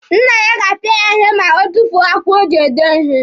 Nna ya ga-apịa ya ihe ma o tufuo akwụkwọ o ji ede ihe.